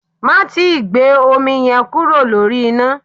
Má tíì gbé omi yẹn kúrò lórí iná.